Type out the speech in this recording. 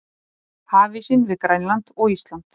Hafísinn við Grænland- og Ísland